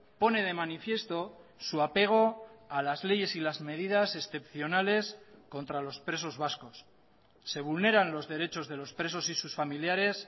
pone de manifiesto su apego a las leyes y las medidas excepcionales contra los presos vascos se vulneran los derechos de los presos y sus familiares